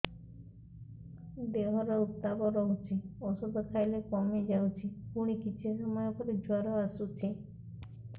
ଦେହର ଉତ୍ତାପ ରହୁଛି ଔଷଧ ଖାଇଲେ କମିଯାଉଛି ପୁଣି କିଛି ସମୟ ପରେ ଜ୍ୱର ଆସୁଛି